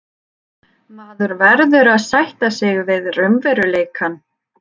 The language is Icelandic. Maður verður að sætta sig við raunveruleikann.